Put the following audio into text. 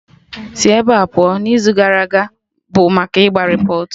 Sị ebea pụọ, n'izu gara aga bụ maka ịgba repọt!